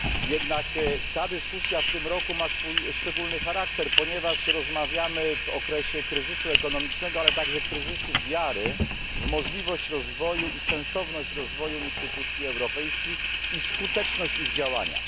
Jednak dyskusja w tym roku ma swój szczególny charakter, ponieważ rozmawiamy w okresie kryzysu ekonomicznego, ale także kryzysu wiary w możliwość i sensowność rozwoju instytucji europejskich oraz skuteczność ich działania.